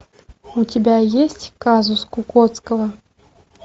у тебя есть казус кукоцкого